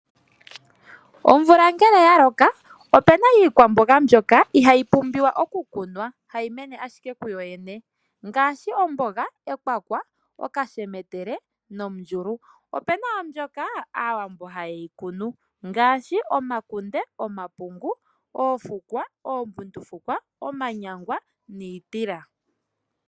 Omvula ngele ya loka opuna iikwamboga mbyoka ihayi pumbiwwa okukunwa, hayi mene ashike kuyoyene ngaashi omboga, ekwakwa, okashemetele, nomundjulu. Opuna wo mbyoka aawambo haye yi kunu ngaashi omakunde, omapungu, oofukwa, ombundukufwa, omanyangwa niitila.